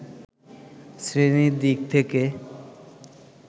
শ্রেণির দিক থেকে